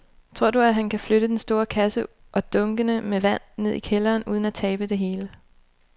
Tror du, at han kan flytte den store kasse og dunkene med vand ned i kælderen uden at tabe det hele?